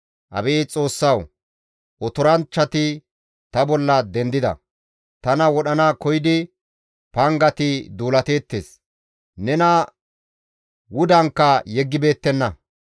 Abeet Xoossawu! Otoranchchati ta bolla dendida; tana wodhana koyidi pangati duulateettes; nena wudankka yeggibeettenna.